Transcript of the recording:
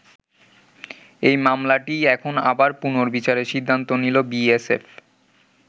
এই মামলাটিই এখন আবার পুনর্বিচারের সিদ্ধান্ত নিল বিএসএফ।